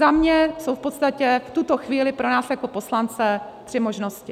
Za mě jsou v podstatě v tuto chvíli pro nás jako poslance tři možnosti.